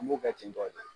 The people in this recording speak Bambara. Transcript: An b'o kɛ ten tɔ de